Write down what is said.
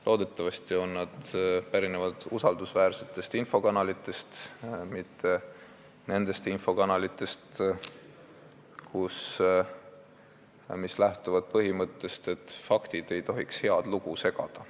Loodetavasti pärinevad need andmed usaldusväärsetest infokanalitest, mitte nendest infokanalitest, mis lähtuvad põhimõttest, et faktid ei tohiks head lugu segada.